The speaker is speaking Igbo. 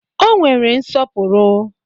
Ọ nwere nsọpụrụ